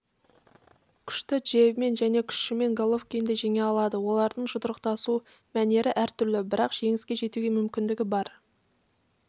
күшті джебімен және күшімен головкинді жеңе алады олардың жұдырықтасу мәнеріәртүрлі бірақ жеңіске жетуге мүмкіндігі бар